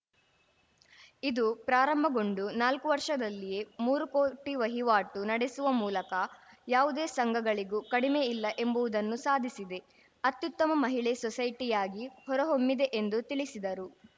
ಇದು ಪ್ರಾರಂಭಗೊಂಡು ನಾಲ್ಕು ವರ್ಷದಲ್ಲಿಯೇ ಮೂರು ಕೋಟಿ ವಹಿವಾಟು ನಡೆಸುವ ಮೂಲಕ ಯಾವುದೇ ಸಂಘಗಳಿಗೂ ಕಡಿಮೆ ಇಲ್ಲಾ ಎಂಬುವುದನ್ನು ಸಾಧಿಸಿದೆ ಅತ್ಯುತ್ತಮ ಮಹಿಳೆ ಸೊಸೈಟಿಯಾಗಿ ಹೊರಹೊಮ್ಮಿದೆ ಎಂದು ತಿಳಿಸಿದರು